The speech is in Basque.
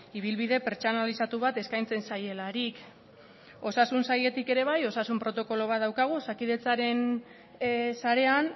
ibilbide pertsonalizatu bat eskaintzen zaielarik osasun sailetik ere bai osasun protokolo bat daukagu osakidetzaren sarean